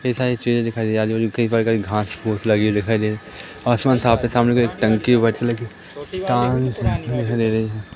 इतनी सारी चीजे दिखाई दे रही हैं घास फूस लगे हुए दिखाई दे रहे आसमान साफ है सामने में एक टंकी है वाइट कलर की ।